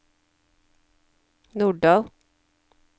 Norddal